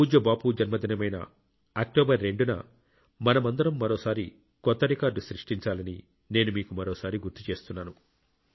పూజ్య బాపు జన్మదినమైన అక్టోబర్ 2 న మనమందరం మరోసారి కొత్త రికార్డు సృష్టించాలని నేను మీకు మరోసారి గుర్తు చేస్తున్నాను